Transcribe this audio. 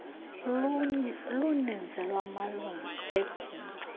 luninzi lwamalungu ebhunga